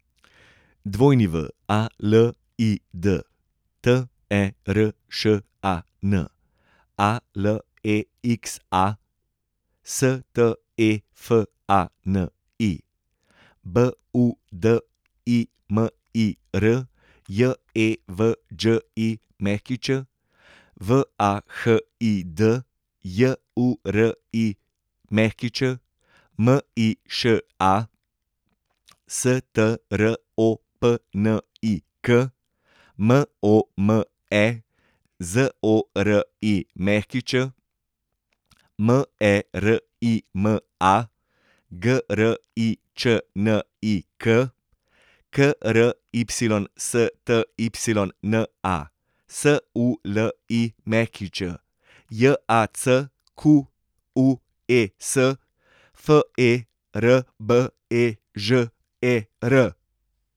Walid Teršan, Alexa Stefani, Budimir Jevđić, Vahid Jurić, Miša Stropnik, Mome Zorić, Merima Gričnik, Krystyna Sulić, Jacques Ferbežer.